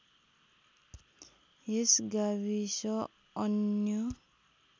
यस गाविस अन्य